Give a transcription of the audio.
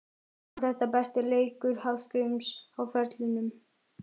Var þetta besti leikur Hallgríms á ferlinum?